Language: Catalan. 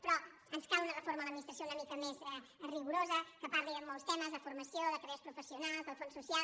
però ens cal una reforma de l’adminis·tració una mica més rigorosa que parli de molts temes de formació de carreres professionals del fons social